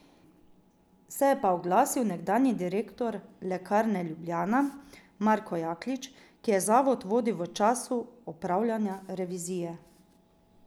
Se je pa oglasil nekdanji direktor Lekarne Ljubljana Marko Jaklič, ki je zavod vodil v času opravljanja revizije.